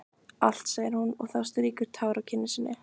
Allt, segir hún þá og strýkur tár af kinn sinni.